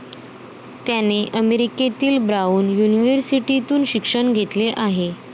त्याने अमेरिकेतील ब्राऊन युनिव्हर्सिटीतून शिक्षण घेतले आहे.